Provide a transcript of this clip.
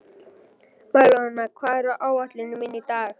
Marólína, hvað er á áætluninni minni í dag?